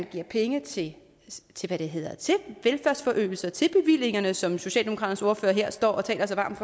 giver penge til velfærdsforøgelse og til bevillingerne som socialdemokratiets ordfører her står og taler så varmt